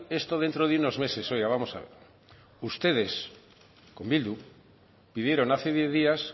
esto dentro de unos meses oiga vamos a ver ustedes con bildu pidieron hace diez días